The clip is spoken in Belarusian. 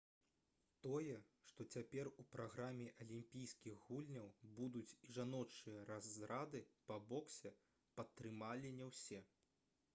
тое што цяпер у праграме алімпійскіх гульняў будуць і жаночыя разрады по боксе падтрымалі не ўсе